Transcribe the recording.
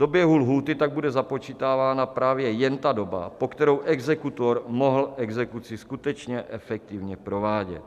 Do běhu lhůty tak bude započítávána právě jen ta doba, po kterou exekutor mohl exekuci skutečně efektivně provádět.